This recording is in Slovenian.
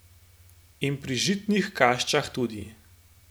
In pri žitnih kašicah tudi.